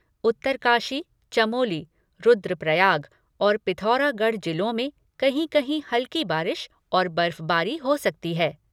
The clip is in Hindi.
उत्तरकाशी, चमोली, रुद्रप्रयाग और पिथौरागढ़ जिलों में कहीं कहीं हल्की बारिश और बर्फ़बारी हो सकती है।